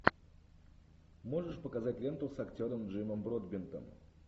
можешь показать ленту с актером джимом бродбентом